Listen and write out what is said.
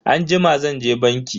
Anjima zanje banki.